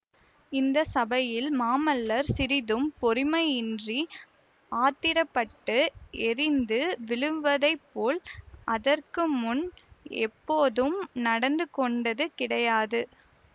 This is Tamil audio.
இந்த சபையில் மாமல்லர் சிறிதும் பொறுமையின்றி ஆத்திரப்பட்டு எரிந்து விழுவதை போல் அதற்குமுன் எப்போதும் நடந்து கொண்டது கிடையாது